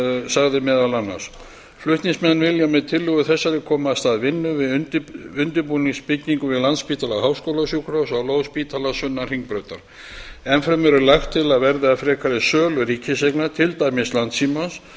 sagði meðal annars flutningsmenn vilja með tillögu þessari koma af stað vinnu til undirbúnings nýbyggingu við landspítala háskólasjúkrahús á lóð spítalans sunnan hringbrautar enn fremur er lagt til að verði af frekari sölu ríkiseigna til dæmis landssímans